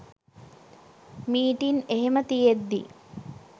meeting එහෙම තියෙද්දි